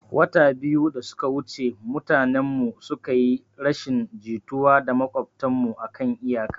Wata biyu da suka wuce mutanen mu suka yi rashin jituwa da maƙwabtan mu akan iyaka